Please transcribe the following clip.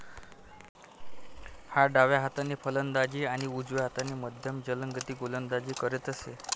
हा डाव्या हाताने फलंदाजी आणि उजव्या हाताने मध्यम जलदगती गोलंदाजी करीत असे.